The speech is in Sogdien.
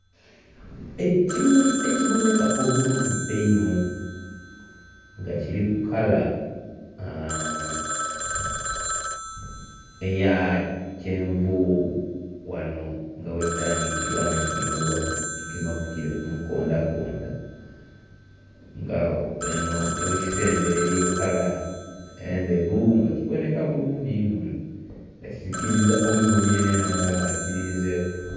Ekimuli ekiboneka obulungi einho nga kiriku kala aa.. eya kyenvu ghano nga ghekitandhikira nga kigemebwa kigema kule kumukondha kondha nga eno yekisembera eriyo kala endheru nga kiboneka bulungi inho nga kisikiriza omuboni yenayena aba nga akirinze ku.